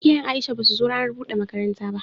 Iyayen Aisha basu zo ranar bude makaranta ba.